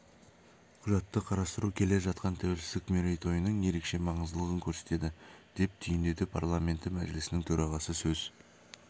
құжатты қарастыру келе жатқан тәуелсіздік мерейтойының ерекше маңыздылығын көрсетеді деп түйіндеді парламенті мәжілісінің төрағасы сөз